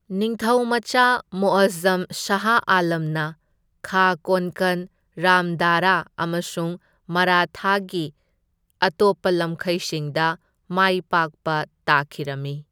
ꯅꯤꯡꯊꯧꯃꯆꯥ ꯃꯨꯑꯖꯖꯝ ꯁꯥꯍ ꯑꯥꯂꯝ ꯅ ꯈꯥ ꯀꯣꯟꯀꯟ, ꯔꯥꯝꯗꯥꯔꯥ ꯑꯃꯁꯨꯡ ꯃꯔꯥꯊꯥꯒꯤ ꯑꯇꯣꯞꯄ ꯂꯝꯈꯩꯁꯤꯡꯗ ꯃꯥꯏꯄꯥꯛꯄ ꯇꯥꯈꯤꯔꯝꯃꯤ꯫